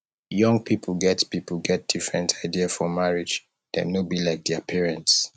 young pipo get pipo get different idea for marriage dem no be like dia parents